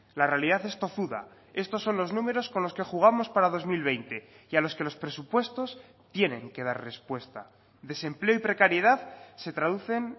la realidad es tozuda estos son los números con los que jugamos para dos mil veinte y a los que los presupuestos tienen que dar respuesta desempleo y precariedad se traducen